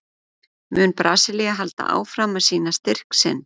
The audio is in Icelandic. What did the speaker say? Mun Brasilía halda áfram að sýna styrk sinn?